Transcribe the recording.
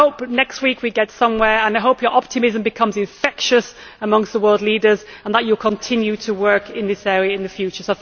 I hope that next week we get somewhere, and I hope your optimism becomes infectious among the world leaders and that you continue to work in this area in the future.